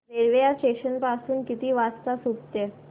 railway या station पासून किती वाजता सुटते